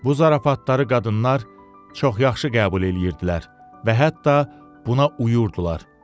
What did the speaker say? Bu zarafatları qadınlar çox yaxşı qəbul eləyirdilər və hətta buna uyurdular.